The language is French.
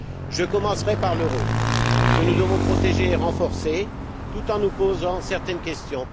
Je commencerai par l'euro que nous devons protéger et renforcer tout en nous posant certaines questions.